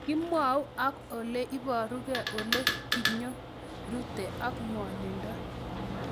Kimwau ak ole iparukei, ole kinyorute, ak ng'wanindo